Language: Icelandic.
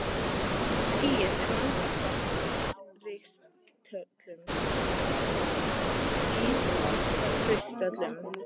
Skýið er langoftast úr ískristöllum.